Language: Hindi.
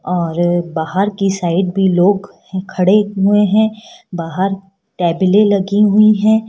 और बाहर की साइड भी लोग खड़े हुए हैं बाहर टेबलें लगी हुई हैं।